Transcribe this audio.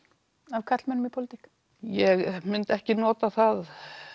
af karlmönnum í pólitík ég myndi ekki nota það